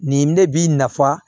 Nin ne bi nafa